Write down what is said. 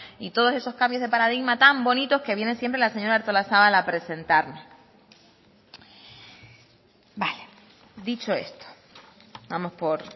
y todos esos cambios de paradigmas tan bonitos que viene siempre la señora artolazabal a presentarnos vale dicho esto vamos por